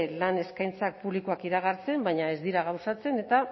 lan eskaintza publikoak iragartzen baina ez dira gauzatzen eta